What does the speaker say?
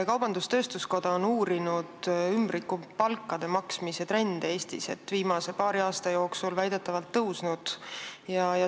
Kaubandus-tööstuskoda on uurinud ümbrikupalkade maksmise trendi Eestis, viimase paari aasta jooksul on see väidetavalt tõusnud.